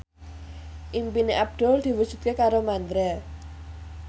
impine Abdul diwujudke karo Mandra